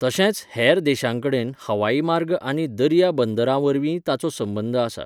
तशेंच हेर देशांकडेन हवाई मार्ग आनी दर्या बंदरांवरवींय ताचो संबंद आसा.